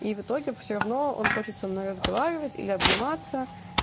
и в итоге всё равно он хочет со мной разговаривать или обниматься